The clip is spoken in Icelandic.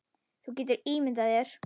Þú getur ímyndað þér.